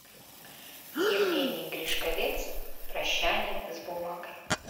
евгений гришковец прощание с бумагой